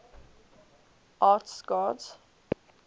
arts gods